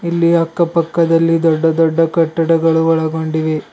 ಇಲ್ಲಿ ಅಕ್ಕ ಪಕ್ಕದಲ್ಲಿ ದೊಡ್ಡ ದೊಡ್ಡ ಕಟ್ಟಡಗಳು ಒಳಗೊಂಡಿವೆ.